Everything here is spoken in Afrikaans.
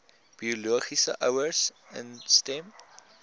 biologiese ouers instem